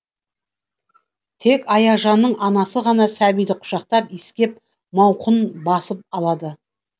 тек аяжанның анасы ғана сәбиді құшақтап иіскеп мауқын басып алады